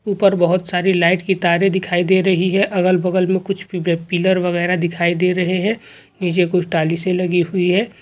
ऊपर बहुत सारी लाइट की तारे दिखाई दे रही है अगल-बगल मे कुछ पिल्लर वगेरह दिखाई दे रहे है नीचे कुछ टाली सी लगी हुई है।